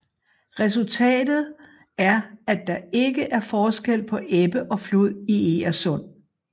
Resultatet er at der ikke er forskel på ebbe og flod i Egersund